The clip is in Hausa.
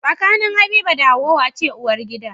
Tsakanin habiba da hauwa wace uwar gida?